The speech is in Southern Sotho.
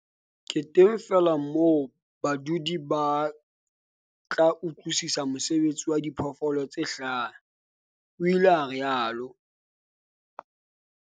"Ke teng feela moo badudi ba tla utlwisisa mosebetsi wa diphoofolo tse hlaha," o ile a rialo.